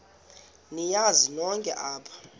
niyazi nonk apha